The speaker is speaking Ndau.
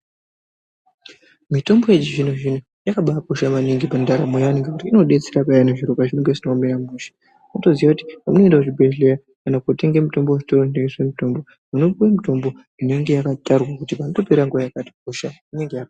Mitombo yechizvino zvino yakabakosha maningi pandaramo inobetsera peyani pazvinhu pazvinenge zvisina kumira mushe unotoziva kuti unoenda kuzvibhedhlera kana kutenga mitombo muzvitoro zvinotengesa mutombo unotopiwa mutombo unonga wakatarwa kuti panotopera nguva yakati hosha inonga yapera .